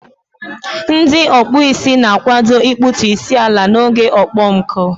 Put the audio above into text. Ndị ọkpụ isi na-akwado ịkpụtu isi ala n'oge okpomọkụ.